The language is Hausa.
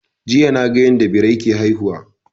Jiya na ga yanda Birai ke haihuwa